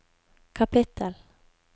kapittel